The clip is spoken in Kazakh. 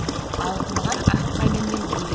алқынған ақ қайыңмен бірге